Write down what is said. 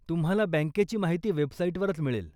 तुम्हाला बँकेची माहिती वेबसाइटवरच मिळेल.